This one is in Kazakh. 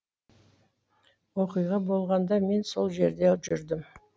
оқиға болғанда мен сол жерде жүрдім